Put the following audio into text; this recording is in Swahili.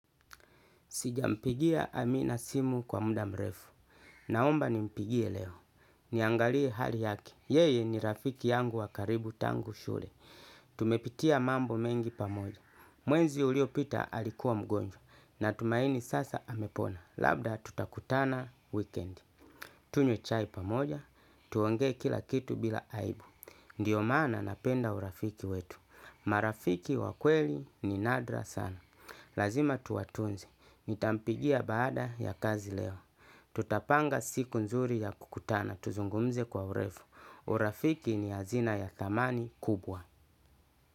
Sijampigia amina simu kwa muda mrefu. Naomba nimpigie leo. Niangalie hali yake. Yeye ni rafiki yangu wa karibu tangu shule. Tumepitia mambo mengi pamoja. Mwezi uliopita alikuwa mgonjwa natumaini sasa amepona. Labda tutakutana wikendi. Tunywe chai pamoja. Tuongee kila kitu bila aibu. Ndiyo maana napenda urafiki wetu. Marafiki wa kweli ni nadra sana. Lazima tuwatunze. Nitampigia baada ya kazi leo. Tutapanga siku nzuri ya kukutana. Tuzungumze kwa urefu. Urafiki ni hazina ya thamani kubwa.